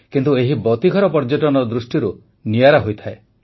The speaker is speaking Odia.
କିନ୍ତୁ ଏହି ବତୀଘର ପର୍ଯ୍ୟଟନ ଦୃଷିରୁ ନିଆରା ହୋଇଥାଏ